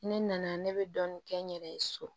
Ne nana ne bɛ dɔɔnin kɛ n yɛrɛ ye so